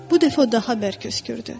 Bu dəfə o daha bərk öskürdü.